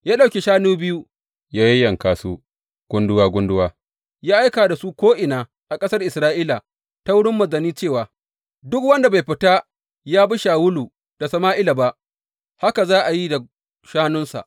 Ya ɗauki shanu biyu, ya yayyanka su gunduwa gunduwa, ya aika da su ko’ina a ƙasar Isra’ila ta wurin manzanni cewa, Duk wanda bai fita ya bi Shawulu da Sama’ila ba, haka za a yi da shanunsa.